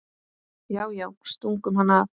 Já, já, stungu hann af!